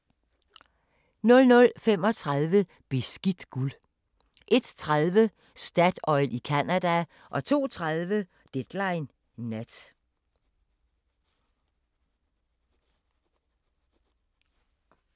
00:35: Beskidt guld 01:30: Statoil i Canada 02:30: Deadline Nat